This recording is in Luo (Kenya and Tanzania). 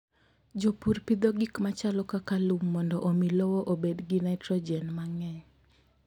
Jopur pidho gik machalo kaka lum mondo omi lowo obed gi nitrogen mang'eny.